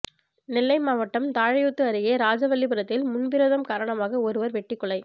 நெல்லை மாவட்டம் தாழையூத்து அருகே ராஜவல்லிபுரத்தில் முன்விரோதம் காரணமாக ஒருவர் வெட்டிக்கொலை